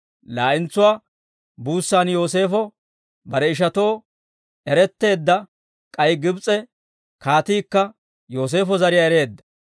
Laa'entsuwaa buussan Yooseefo bare ishatoo eretteedda; k'ay Gibs'e kaatiikka Yooseefo zariyaa ereedda.